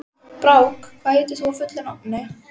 Brák, hvað heitir þú fullu nafni?